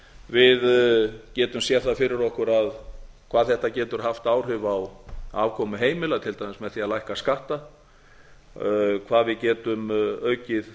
við getum séð það fyrir okkur hvað þetta getur haft áhrif á afkomu heimila til dæmis með því að lækka skatta hvað við getum aukið